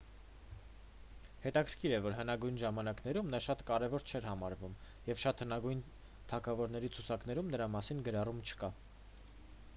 հետաքրքիր է որ հնագույն ժամանակներում նա շատ կարևոր չէր համարվում և շատ հնագույն թագավորների ցուցակներում նրա մասին գրառում չկա